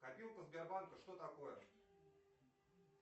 копилка сбербанка что такое